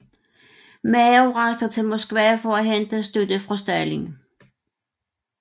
Mao rejser til Moskva for at hente støtte fra Stalin